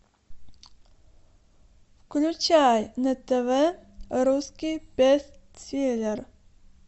включай на тв русский бестселлер